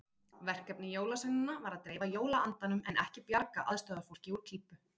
Verkefni jólasveinanna var að dreifa jólaandanum en ekki bjarga aðstoðarfólki úr klípu.